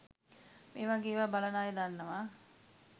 මේවගේ ඒවා බලන අය දන්නවා